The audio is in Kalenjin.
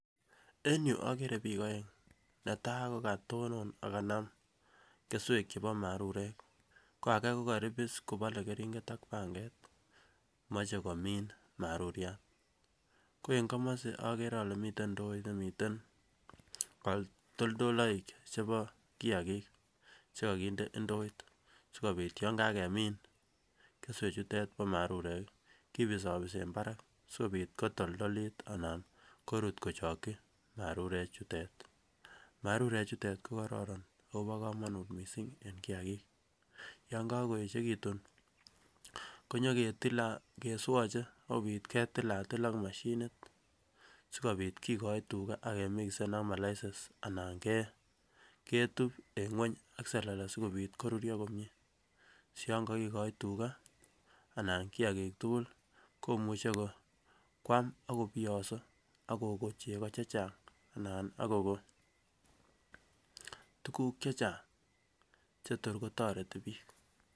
En yuu okere bik oeng netai kokotonon ak kanam kesuek chebo marurek ko age kokoribis kobole keringet ak panket moche komin maruriat, ko en komosi okere ole miten ndoit nemiten kotoldoloik chebo kiyakik chekokinde indoit sikobit yon kakemin kesuek chutet bo marurek kiii kibisobisen barak sikobit kotoldolit anan korut kochoki marurek chutet. Marurek chutet ko kororon obokomonut missing en kiyakik, yon kokoyechekitut konyo ketile ak kesuoche sikopit ketilatil ak Mashinit sikobit kokoi tugaa ak kemikisen ak malaset anan ketup en ngueny AK selele sikobit koruruio komie siyon kokikoi tuka anan kiyakik tukul komuche kwam ak kobiyoso ak kokonu cheko chechang anan akokon tukuk chechang chetor kotoretin bik.